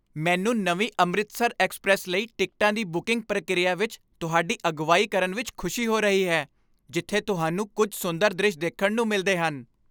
ਮੈਨੂੰ ਨਵੀਂ 'ਅੰਮ੍ਰਿਤਸਰਐਕਸਪ੍ਰੈੱਸ' ਲਈ ਟਿਕਟਾਂ ਦੀ ਬੁਕਿੰਗ ਪ੍ਰਕਿਰਿਆ ਵਿੱਚ ਤੁਹਾਡੀ ਅਗਵਾਈ ਕਰਨ ਵਿੱਚ ਖੁਸ਼ੀ ਹੋ ਰਹੀ ਹੈ ਜਿੱਥੇ ਤੁਹਾਨੂੰ ਕੁੱਝ ਸੁੰਦਰ ਦ੍ਰਿਸ਼ ਦੇਖਣ ਨੂੰ ਮਿਲਦੇ ਹਨ।